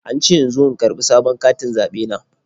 An ce in zo in karɓi sabon katin zaɓe na.